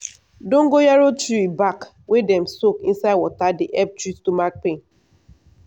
dongoyaro tree back wey dem soak inside water dey help treat stomach pain.